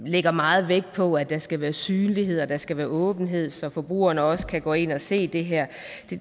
lægger meget vægt på at der skal være synlighed og der skal være åbenhed så forbrugerne også kan gå ind og se det her